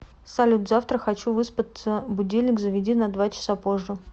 салют завтра хочу выспаться будильник заведи на два часа позже